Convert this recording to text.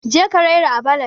je ka raira à ballad